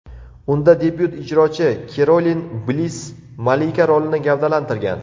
Unda debyut ijrochi Kerolin Bliss malika rolini gavdalantirgan.